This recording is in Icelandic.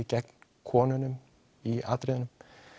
gegn konunum í atriðunum